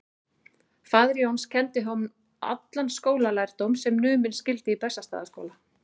Faðir Jóns kenndi honum allan skólalærdóm sem numinn skyldi í Bessastaðaskóla.